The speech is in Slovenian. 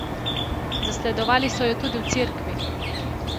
Zasledovali so jo tudi v cerkvi!